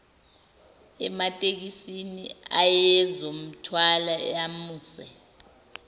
ematekisini ayezomthwala amuse